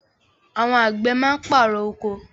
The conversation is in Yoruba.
Àwọn àgbẹ̀ máa ń pàrọ̀ oko.